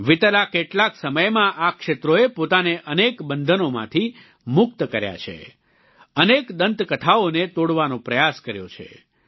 વિતેલા કેટલાક સમયમાં આ ક્ષેત્રોએ પોતાને અનેક બંધનોમાંથી મુક્ત કર્યા છે અનેક દંતકથાઓને તોડવાનો પ્રયાસ કર્યો છે